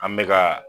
An bɛ ka